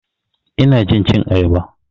Ina jin cin ayaba.